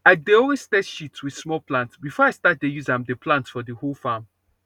i dey always test shit with small plant before i start dey use am dey plant for the whole farm